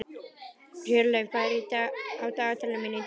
Hjörleif, hvað er á dagatalinu mínu í dag?